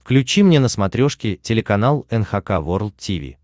включи мне на смотрешке телеканал эн эйч кей волд ти ви